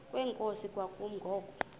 kwenkosi kwakumi ngoku